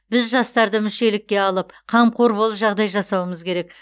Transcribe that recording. біз жастарды мүшелікке алып қамқор болып жағдай жасауымыз керек